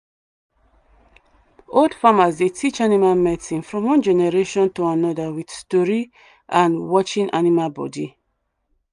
old farmers dey teach animal medicine from one generation to another with story and watching animal body.